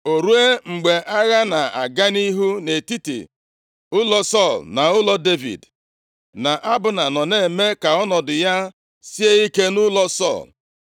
O ruo, mgbe agha na-aga nʼihu nʼetiti ụlọ Sọl na ụlọ Devid, na Abna nọ na-eme ka ọnọdụ ya sie ike nʼụlọ Sọl.